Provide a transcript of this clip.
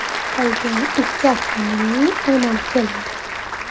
Qolgan ikki avtomobilning omadi kelmagan.